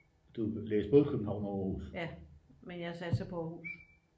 ja men jeg satser på aarhus